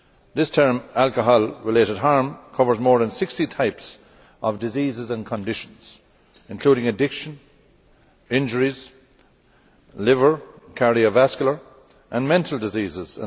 The term alcohol related harm' covers more than 60 types of diseases and conditions, including addiction injuries liver, cardiovascular and mental diseases